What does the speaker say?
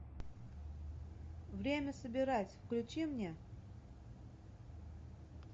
время собирать включи мне